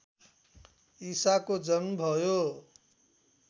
ईसाको जन्म भयो